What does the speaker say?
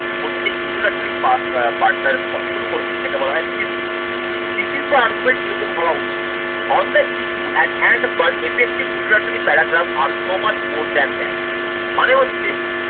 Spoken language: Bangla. প্রথমে যে introductory part টা শুরু করবে যেটাকে বলা হয় বা argument কিরকম হওয়া উচিত On the issue at hand but effected introductory paragraph are so much more than that মানে হচ্ছে